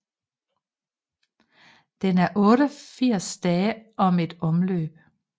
Den er 88 dage om et omløb